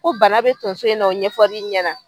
Ko bana bɛ tonso in na o ɲɛfɔr'i ɲɛna.